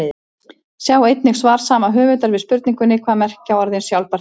Sjá einnig svar sama höfundar við spurningunni Hvað merkja orðin sjálfbær þróun?